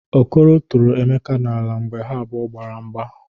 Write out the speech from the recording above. Okoro tụrụ Emeka n'ala mgbe ha abụọ gbara mgba.